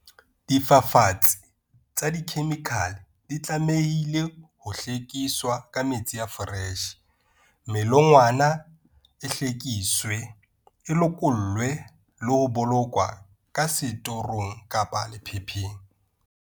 Difafatsi tsa dikhemikhale di tlamehile ho hlwekiswa ka metsi a foreshe, melongwana e hlwekiswe, e lokollwe le ho bolokwa ka setorong, lephepheng.